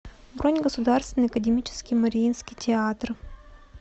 бронь государственный академический мариинский театр